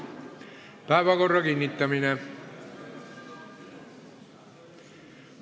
Päevakorra kinnitamine.